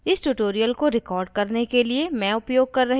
इस tutorial को record करने के लिए मैं उपयोग कर रही हूँ